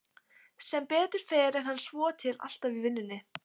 Sem betur fer er hann svotil alltaf í vinnunni.